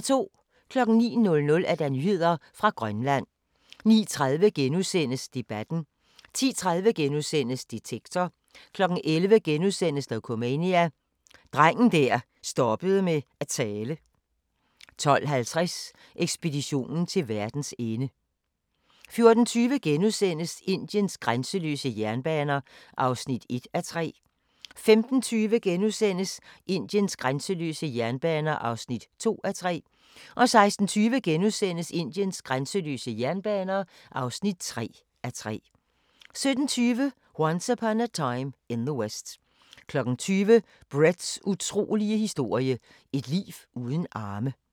09:00: Nyheder fra Grønland 09:30: Debatten * 10:30: Detektor * 11:00: Dokumania: Drengen der stoppede med at tale * 12:50: Ekspeditionen til verdens ende 14:20: Indiens grænseløse jernbaner (1:3)* 15:20: Indiens grænseløse jernbaner (2:3)* 16:20: Indiens grænseløse jernbaner (3:3)* 17:20: Once Upon a Time in the West 20:00: Bretts utrolige historie – et liv uden arme